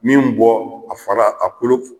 Min bɔ a fara a kolo f